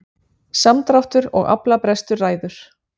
Samdráttur og aflabrestur ræður